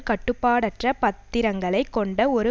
கட்டுப்பாடற்ற பத்திரங்களை கொண்ட ஒரு